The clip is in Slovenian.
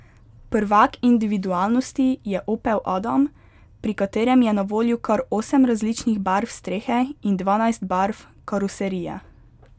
Prvak individualnosti je opel adam, pri katerem je na voljo kar osem različnih barv strehe in dvanajst barv karoserije.